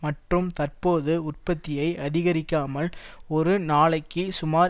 மற்றும் தற்போது உற்பத்தியை அதிகரிக்காமல் ஒரு நாளைக்கு சுமார்